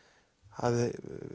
hafði